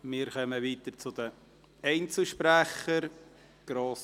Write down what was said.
Wir kommen zu den Einzelsprechern.